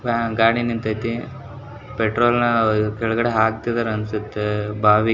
fan ಗಾಳಿ ನಿಂತತಿ petrol ನ ಕೆಳಗಡೆ ಹಾಕ್ತಿದ್ದಾರೆ ಅನ್ಸುತ್ತೆ ಬಾವಿ --